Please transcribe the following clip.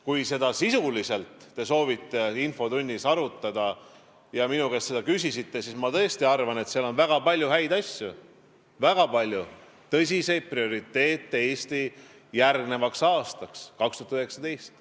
Kui te soovite seda sisuliselt infotunnis arutada ja minu käest seda küsite, siis ma vastan, et tõesti, ma arvan, et seal on väga palju häid asju, väga palju Eesti prioriteete järgmisel aastal, 2019.